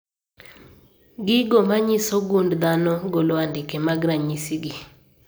Gigo manyiso gund dhano golo andike mag ranyisi gi